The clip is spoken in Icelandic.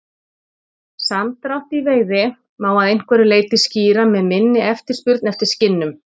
Samdrátt í veiði má að einhverju leyti skýra með minni eftirspurn eftir skinnum.